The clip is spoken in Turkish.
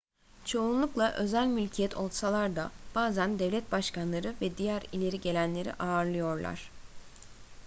çoğunlukla özel mülkiyet olsalar da bazen devlet başkanları ve diğer ileri gelenleri ağırlıyorlar